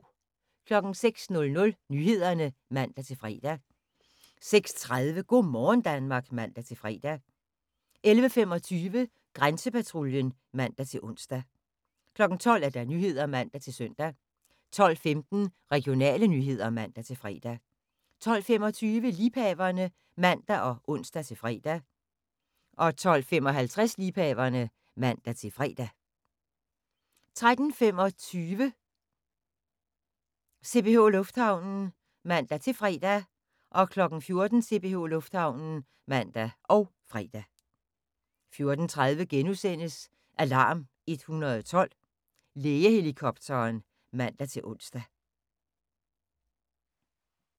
06:00: Nyhederne (man-fre) 06:30: Go' morgen Danmark (man-fre) 11:25: Grænsepatruljen (man-ons) 12:00: Nyhederne (man-søn) 12:15: Regionale nyheder (man-fre) 12:25: Liebhaverne (man og ons-fre) 12:55: Liebhaverne (man-fre) 13:25: CPH Lufthavnen (man-fre) 14:00: CPH Lufthavnen (man og fre) 14:30: Alarm 112 – Lægehelikopteren *(man-ons)